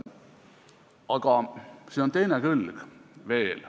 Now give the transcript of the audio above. Aga siin on teine külg veel.